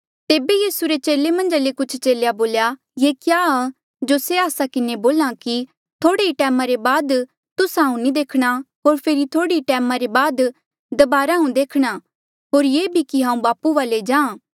तेबे यीसू रे चेले मन्झ ले कुछ चेले बोल्या ये क्या आ जो से आस्सा किन्हें बोल्हा कि थोह्ड़े ही टैम रे बाद तुस्सा हांऊँ नी देखणा होर फेरी थोह्ड़े ही टैम रे बाद दबारा तुस्सा हांऊँ देखणा होर ये भी कि हांऊँ बापू वाले जाहाँ